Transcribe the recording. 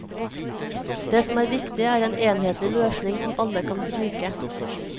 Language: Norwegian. Det som er viktig, er en enhetlig løsning som alle kan bruke.